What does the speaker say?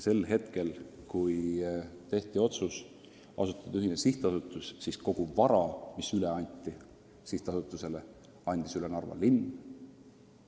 Kui tehti otsus asutada riigiga ühine sihtasutus, siis kogu vara, mis sihtasutusele üle anti, andis üle Narva linn.